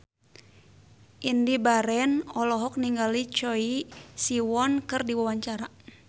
Indy Barens olohok ningali Choi Siwon keur diwawancara